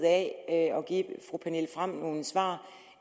at give fru pernille frahm nogle svar